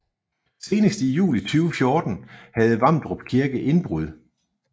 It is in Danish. Senest i juli 2014 havde Vamdrup Kirke indbrud